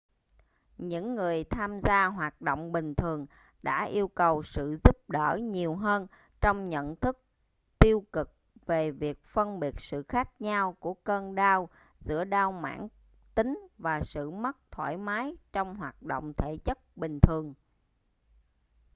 những người tham gia hoạt động bình thường đã yêu cầu sự giúp đỡ nhiều hơn trong nhận thức tiêu cực về việc phân biệt sự khác nhau của cơn đau giữa đau mãn tính và sự mất thoải mái trong hoạt động thể chất bình thường